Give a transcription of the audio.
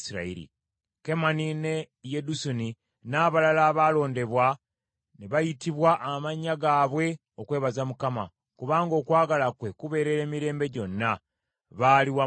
Kemani ne Yedusuni n’abalala abaalondebwa ne bayitibwa amannya gaabwe okwebaza Mukama , “kubanga okwagala kwe kubeerera emirembe gyonna,” baali wamu nabo.